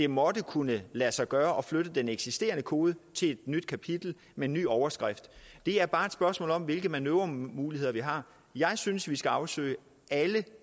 må det kunne lade sig gøre at flytte den eksisterende kode til et nyt kapitel med en ny overskrift det er bare et spørgsmål om hvilke manøvremuligheder vi har jeg synes vi skal afsøge alle